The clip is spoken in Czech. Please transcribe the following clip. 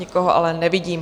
Nikoho ale nevidím.